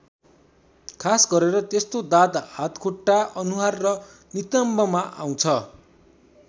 खास गरेर त्यस्तो दाद हातखुट्टा अनुहार वा नितम्बमा आउँछ।